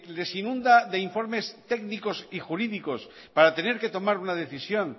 les inunda de informes técnicos y jurídicos para tener que tomar una decisión